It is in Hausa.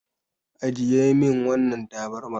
Ajiye min wannan tabarmar.